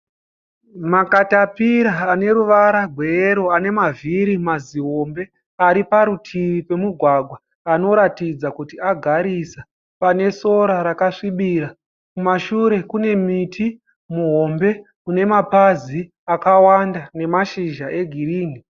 Makatapira ane ruvara rweyero ane mavhiri mazihombe ari parutivi pemugwagwa anoratidza kuti agarisa pane sora akasvibira. Kumashure kune muti muhombe une mapazi akawanda nemashizha egirinhi.